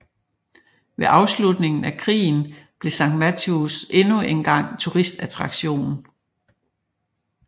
Med afslutningen af krigen blev St Mawes endnu engang turistattraktion